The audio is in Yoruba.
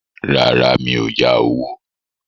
Rárá, mi ò yá owó